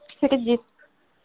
кредит